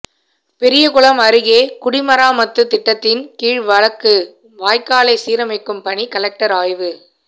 பெரியகுளம் அருகே குடிமராமத்து திட்டத்தின் கீழ் வழங்கு வாய்க்காலை சீரமைக்கும் பணி கலெக்டர் ஆய்வு